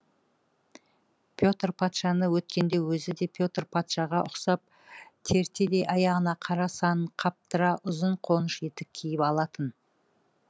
петр патшаны өткенде өзі де петр патшаға ұқсап тертедей аяғына қара санын қаптыра ұзын қоныш етік киіп алатын